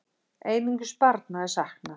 Einungis barna er saknað.